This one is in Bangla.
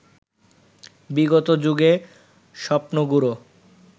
বিগত যুগে স্বপ্ন গুঁড়ো